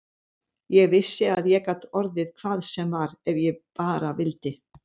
Ég vissi að ég gat orðið hvað sem var ef ég bara vildi.